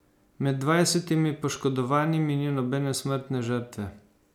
Med dvajsetimi poškodovanimi ni nobene smrtne žrtve.